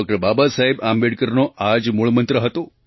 બાબાસાહેબ આંબેડકરનો આ જ મૂળમંત્ર હતો